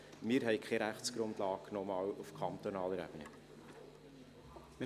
Noch einmal: Wir haben auf kantonaler Ebene keine Rechtsgrundlage.